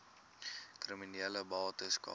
kriminele bates cara